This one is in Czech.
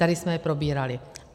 Tady jsme je probírali.